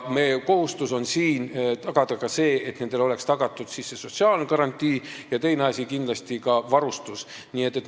Meie kohustus on siin tagada nendele sotsiaalne garantii ja teine asi on kindlasti ka varustus.